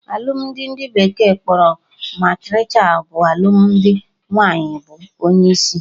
Alụmdi ndị bekee kpọrọ matriarchal bụ alụmdi nwaanyị bụ onye isi